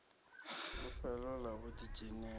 fulufhelo ḽa u ḓi dzhenisa